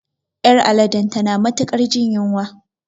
Ƴar aladen tana matuƙar jin yunwa